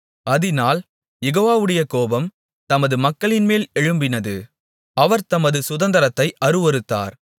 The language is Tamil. அதினால் யெகோவாவுடைய கோபம் தமது மக்களின்மேல் எழும்பினது அவர் தமது சுதந்தரத்தை அருவருத்தார்